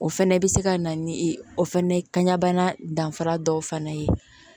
O fɛnɛ bɛ se ka na ni o fana ye kanɲana danfara dɔ fana ye